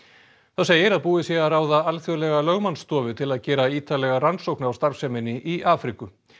þá segir að búið sé að ráða alþjóðlega lögmannsstofu til að gera ítarlega rannsókn á starfseminni í Afríku